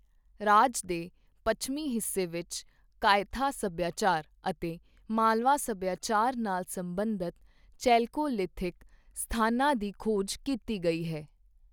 ਰਾਜ ਦੇ ਪੱਛਮੀ ਹਿੱਸੇ ਵਿੱਚ ਕਾਇਥਾ ਸੱਭਿਆਚਾਰ ਅਤੇ ਮਾਲਵਾ ਸੱਭਿਆਚਾਰ ਨਾਲ ਸਬੰਧਤ ਚੈਲਕੋਲਿਥਿਕ ਸਥਾਨਾਂ ਦੀ ਖੋਜ ਕੀਤੀ ਗਈ ਹੈ।